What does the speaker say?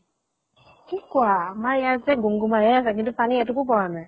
কি কোৱা? আমাৰ ইয়াতে গুম গুমাই হে আছে, কিন্তু পানী এটোপো পৰা নাই।